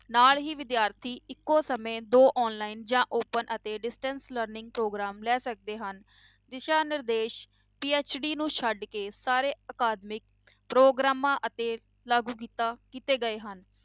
ਨਾਲ ਹੀ ਵਿਦਿਆਰਥੀ ਇੱਕੋ ਸਮੇਂ ਦੋ online ਜਾਂ open ਅਤੇ distance learning ਪ੍ਰੋਗਰਾਮ ਲੈ ਸਕਦੇ ਹਨ, ਦਿਸ਼ਾ ਨਿਰਦੇਸ਼ PhD ਨੂੰ ਛੱਡ ਕੇ ਸਾਰੇ ਅਕਾਦਮਿਕ ਪ੍ਰੋਗਰਾਮਾਂ ਅਤੇ ਲਾਗੂ ਕੀਤਾ ਕੀਤੇ ਗਏ ਹਨ।